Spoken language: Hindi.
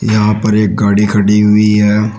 यहां पर एक गाड़ी खड़ी हुई है।